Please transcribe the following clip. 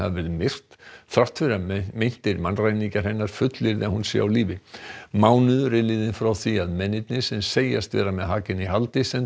verið myrt þrátt fyrir að meintir mannræningjar hennar fullyrði að hún sé á lífi mánuður er liðinn frá því að mennirnir sem segjast vera með Hagen í haldi sendu